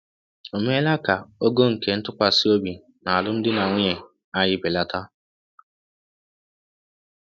Ò meela ka ogo nke ntụkwasị obi n’alụmdi na nwunye anyị belata?